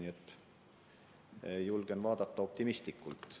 Julgen tulevikku vaadata optimistlikult.